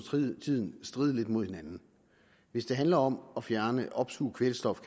tiden stride lidt mod hinanden hvis det handler om at fjerne opsuge kvælstof